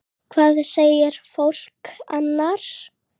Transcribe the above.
Hvað segir fólk annars?